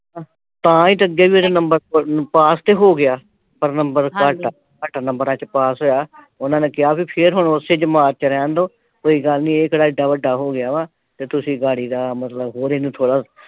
ਤਾਂ ਈ ਤੇ ਅੱਗੇ ਵੀ ਇਹਦੇ ਨੰਬਰ ਅਹ ਪਾਸ ਤੇ ਹੋ ਗਿਆ ਪਰ ਨੰਬਰ ਘੱਟ ਆ। ਘੱਟ ਨੰਬਰਾਂ ਚ ਪਾਸ ਹੋਇਆ ਤੇ ਉਨ੍ਹਾਂ ਨੇ ਕਿਹਾ ਬਈ ਫੇਰ ਹੁਣ ਓਸੇ ਜਮਾਤ ਚ ਰਹਿਣ ਦਿਓ ਕੋਈ ਗੱਲ ਨਈਂ ਇਹ ਕਿਹੜਾ ਐਡਾ ਵੱਡਾ ਹੋ ਗਿਆ ਵਾ ਤੇ ਤੁਸੀਂ ਵਾਰੀ ਅਹ ਮਤਲਬ ਹੋਰ ਇਹਨੂੰ ਥੋੜ੍ਹਾ,